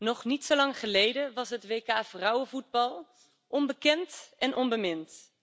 Nog niet zo lang geleden was het WK vrouwenvoetbal onbekend en onbemind.